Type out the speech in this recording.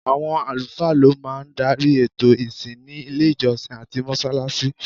Awọn alufaa ló máa ń darí ètò ìsìn ní ilé ìjọsìn àti mọ́ṣáláṣí